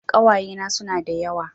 Ƙawayena suna da yawa